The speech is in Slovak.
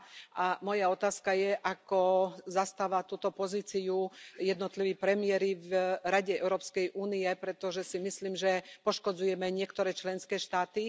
2? A moja otázka je, ako zastávajú túto pozíciu jednotliví premiéri v Rade Európskej únie, pretože si myslím, že poškodzujeme niektoré členské štáty.